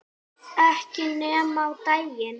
Ekki nema á daginn